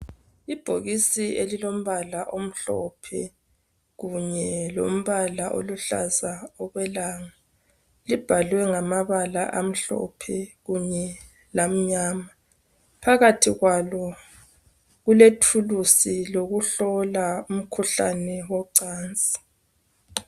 Ibhokisi elilombala omhlophe kunye lombala oluhlaza okwelanga, libhaliwe ngamabala amhlophe kunye lmnyama. Phakathi kulethulusi yokuhlola umkhuhlane wocansi.